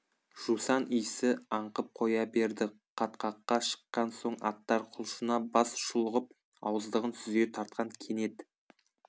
жусан иісі аңқып қоя берді қатқаққа шыққан соң аттар құлшына бас шұлғып ауыздығын сүзе тартқан кенет